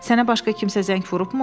Sənə başqa kimsə zəng vurubmu?